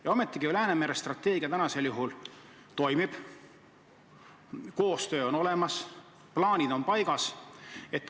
Ja ometi Läänemere strateegia tänasel juhul toimib, koostöö on olemas, plaanid on paigas.